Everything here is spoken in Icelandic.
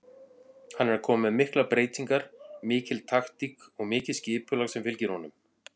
Hann er að koma með miklar breytingar, mikil taktík og mikið skipulag sem fylgir honum.